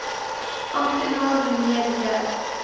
amptenaar mnr j